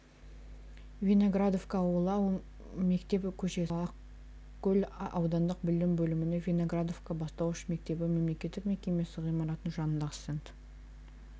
виноградовка ауылы мектеп көшесі ақкөл аудандық білім бөлімінің виноградовка бастауыш мектебі мемлекеттік мекемесі ғимаратының жанындағы стенд